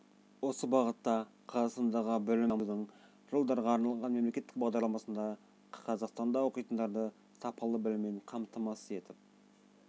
осы бағытта қазақстандағы білім беруді дамытудың жылдарға арналған мемлекеттік бағдарламасында қазақстанда оқитындарды сапалы біліммен қамтамасыз етіп